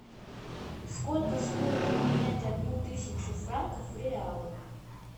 сколько стоит обменять одну тысячу франков в реалы